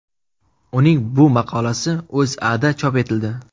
Uning bu maqolasi O‘zAda chop etildi .